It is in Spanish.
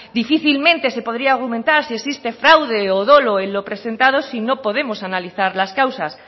difícilmente se podría argumentar si existe fraude o dolo en lo presentado si no podemos analizar las causas